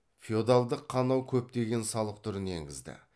феодалдық қанау көптеген салық түрін енгізді